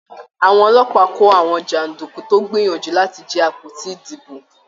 Àwọn ọlọ́pàá kò àwọn janduku tó gbìyànjú láti jí àpótí ìdìbò.